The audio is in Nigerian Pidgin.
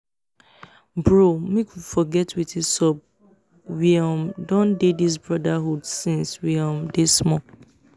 bro make we forget wetin sup we um don dey this brotherhood since we um dey small